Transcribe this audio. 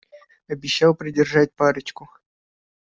обещал придержать парочку